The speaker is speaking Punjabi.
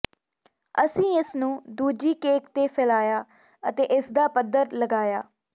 ਅਸੀਂ ਇਸ ਨੂੰ ਦੂਜੀ ਕੇਕ ਤੇ ਫੈਲਾਇਆ ਅਤੇ ਇਸਦਾ ਪੱਧਰ ਲਗਾਇਆ